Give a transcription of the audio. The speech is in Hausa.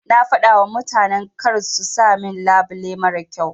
Na fadawa mutanan karsu sa min labile marar kyau.